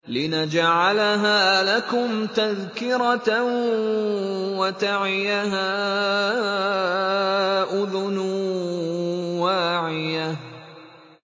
لِنَجْعَلَهَا لَكُمْ تَذْكِرَةً وَتَعِيَهَا أُذُنٌ وَاعِيَةٌ